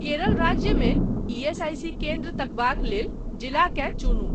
केरल राज्यमे ईएसआईसी केन्द्रक तकबाक लेल जिलाकेँ चुनु।